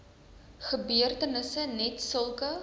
gebeurtenisse net sulke